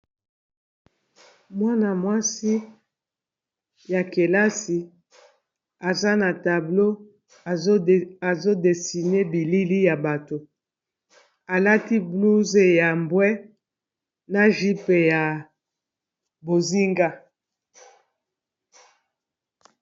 Mwana-mwasi ya kelasi aza na tablo azodesine bilili ya bato alati blouze ya mbwe, na vipe ya bozinga.